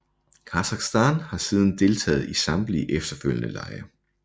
Kasakhstan har siden deltaget i samtlige efterfølgende lege